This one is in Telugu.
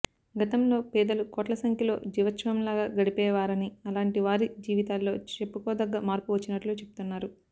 గతంలో పేదలు కోట్లసంఖ్యలో జీవచ్ఛవంలాగా గడిపే వారని అలాంటి వారి జీవితాల్లో చెప్పుకోదగ్గ మార్పు వచ్చి నట్లు చెప్తున్నారు